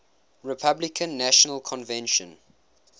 republican national convention